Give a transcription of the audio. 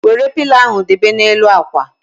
Wéré pilo ahụ debe na n'elu ákwà